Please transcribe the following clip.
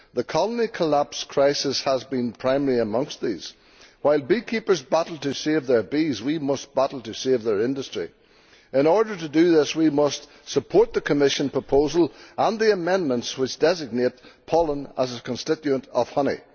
The colony collapse crisis has been primary amongst these. While beekeepers battle to save their bees, we must battle to save their industry. In order to do this, we must support the Commission proposal and the amendments which designate pollen as a constituent of honey.